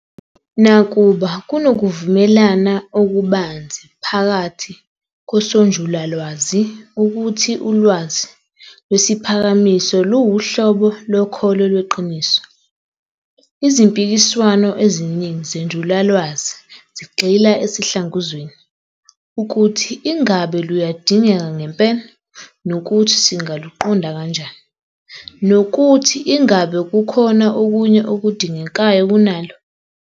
Nakuba kunokuvumelana okubanzi phakathi kosonjulalwazi ukuthi ulwazi lwesiphakamiso luwuhlobo lokholo lweqiniso, izimpikiswano eziningi zenjulalwazi zigxila esihlanguzweni- ukuthi ingabe luyadingeka ngempela, nokuthi singaluqonda kanjani, nokuthi ingabe kukhona okunye okudingekayo kunalo.